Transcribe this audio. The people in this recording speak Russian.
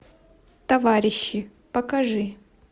товарищи покажи